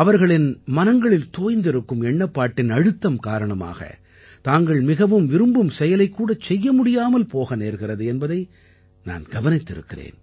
அவர்களின் மனங்களில் தோய்ந்திருக்கும் எண்ணப்பாட்டின் அழுத்தம் காரணமாக தாங்கள் மிகவும் விரும்பும் செயலைக்கூடச் செய்ய முடியாமல் போக நேர்கிறது என்பதை நான் கவனித்திருக்கிறேன்